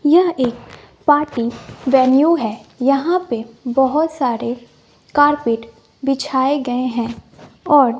यह एक party venue है यहां पे बहुत सारे कार्पेट बिछाए गए हैं और--